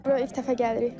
Bura ilk dəfə gəlirik.